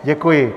Děkuji.